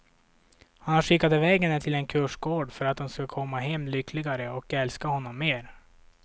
Han har skickat iväg henne till en kursgård för att hon ska komma hem lyckligare, och älska honom mer.